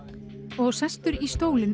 og sestur í stólinn